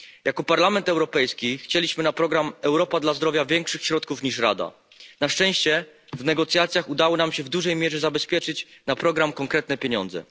Jako Parlament Europejski chcieliśmy na program Europa dla zdrowia większych środków niż Rada, na szczęście w negocjacjach udało nam się w dużej mierze zabezpieczyć na program konkretne pieniądze.